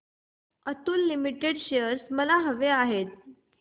Atul Limited चे shares मला हवे आहेत